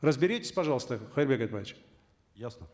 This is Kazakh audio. разберитесь пожалуйста кайырбек айтбаевич ясно